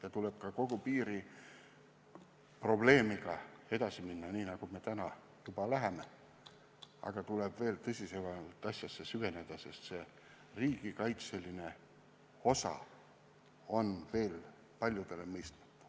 Ja tuleb kogu piiriprobleemistikuga edasi minna, nii nagu me juba lähemegi, aga tuleb veel tõsisemalt asjasse süveneda, sest riigikaitseline osa on veel paljudele mõistmata.